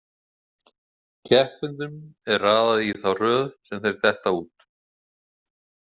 Keppendunum er raðað í þá röð sem þeir detta út.